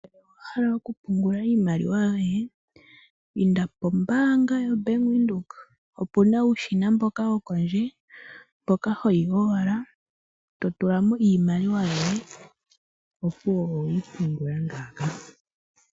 Ngele owa hala okupungula iimaliw ayoye, inda pombaanga yoBank Windhoek opu na uushina mboka wopondje, mpoka ho yi owala e to tula mo iimaliw ayoye, opuwo owe yi pungula ngaaka.